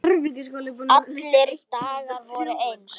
Allir dagar voru eins.